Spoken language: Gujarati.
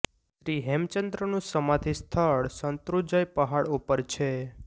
શ્રી હેમચંદ્રનું સમાધિ સ્થળ શંત્રુજય પહાડ ઉપર છે